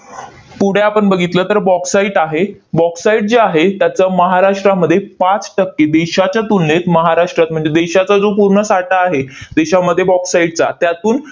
पुढे आपण बघितलं तर, bauxite आहे. bauxite जे आहे, त्याचं महाराष्ट्रामध्ये पाच टक्के, देशाच्या तुलनेत महाराष्ट्रात म्हणजे देशाचा जो पूर्ण साठा आहे देशामध्ये bauxite चा, त्यातून